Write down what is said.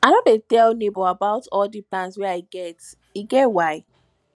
i no dey tell nebor about all di plans wey i get e get why